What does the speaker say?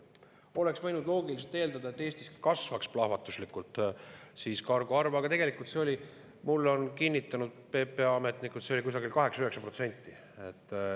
Oleks võinud loogiliselt eeldada, et Eestis kasvab siis plahvatuslikult kargo, aga tegelikult see oli, nagu mulle on kinnitanud PPA ametnikud, kusagil 8–9%.